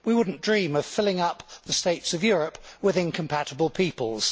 We would not dream of filling up the states of Europe with incompatible peoples.